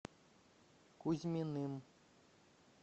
кузьминым